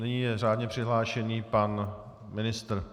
Nyní je řádně přihlášen pan ministr.